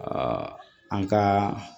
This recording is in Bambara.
an ka